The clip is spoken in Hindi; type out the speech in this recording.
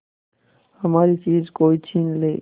हमारी चीज कोई छीन ले